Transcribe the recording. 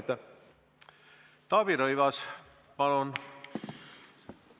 Taavi Rõivas, palun!